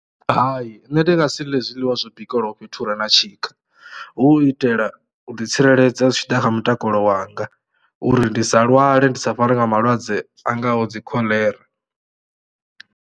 Hai nṋe ndi nga si ḽe zwiḽiwa zwo bikeliwaho fhethu hure na tshika hu u itela u ḓi tsireledza zwi tshi ḓa kha mutakalo wanga, uri ndi sa lwale ndi sa farwe nga malwadze a ngaho dzi khoḽera.